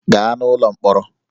Gaa n'ụlọ mkpọrọ!